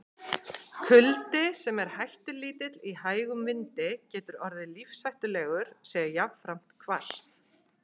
Kuldi, sem er hættulítill í hægum vindi, getur orðið lífshættulegur sé jafnframt hvasst.